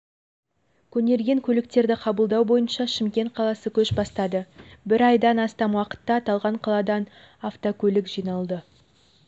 көнерген көліктерді қабылдау бойынша шымкент қаласы көш бастады бір айдан астам уақытта аталған қаладан автокөлік жиналды